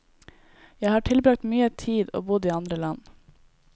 Jeg har tilbragt mye tid og bodd i andre land.